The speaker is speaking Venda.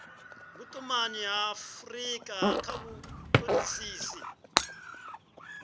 vhutumanyi ha afurika kha vhutodisisi